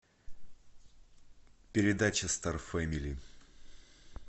передача стар фэмили